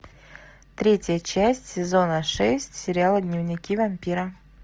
третья часть сезона шесть сериала дневники вампира